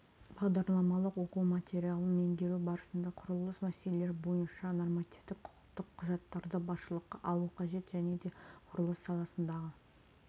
бағдарламалық оқу материалын меңгеру барысында құрылыс мәселелері бойынша нормативтік құқықтық құжаттарды басшылыққа алу қажет және де құрылыс саласындағы